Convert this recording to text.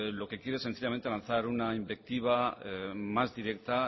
lo que quiere es sencillamente lanzar una invectiva más directa